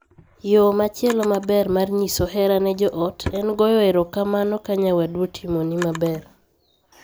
Yoo machielo maber mar nyiso hera ne joot en goyo erokamano ka nyawadu otimoni maber.